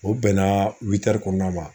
O bɛnna kɔnɔna ma.